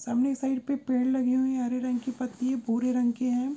सामने साइड पे पेड़ लगि हुई है हरे रंग की पत्ती भूरे रंग की है।